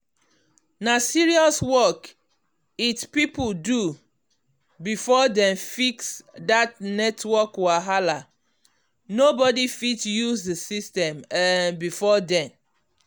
na serious work it people do before dem fix that network wahala nobody fit use the system um before then.